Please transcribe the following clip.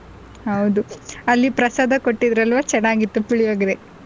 ಹೌದು ಅಲ್ಲಿ ಪ್ರಸಾದ ಕೊಟ್ಟಿದ್ರಲ್ವ ತುಂಬಾ ಚೆನ್ನಾಗಿತ್ತು ಪುಳಿಯೋಗರೆ.